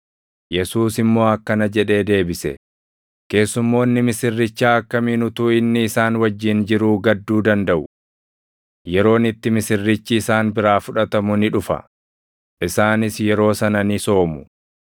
Yesuus immoo akkana jedhee deebise; “Keessummoonni misirrichaa akkamiin utuu inni isaan wajjin jiruu gadduu dandaʼu? Yeroon itti misirrichi isaan biraa fudhatamu ni dhufa; isaanis yeroo sana ni soomu.